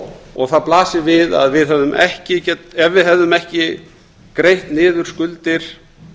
og það blasir við að ef við hefðum ekki greitt niður skuldir